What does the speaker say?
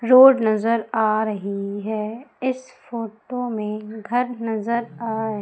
road नजर आ रही है इस फोटो में घर नजर आ--